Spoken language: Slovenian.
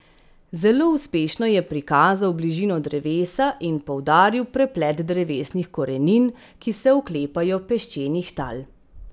Zelo uspešno je prikazal bližino drevesa in poudaril preplet drevesnih korenin, ki se oklepajo peščenih tal.